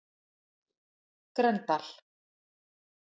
Grendal